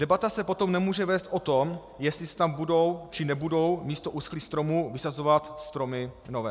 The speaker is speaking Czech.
Debata se potom nemůže vést o tom, jestli se tam budou, či nebudou místo uschlých stromů vysazovat stromy nové.